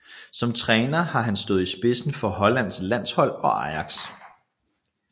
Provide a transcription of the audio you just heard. Som træner har han stået i spidsen for Hollands landshold og Ajax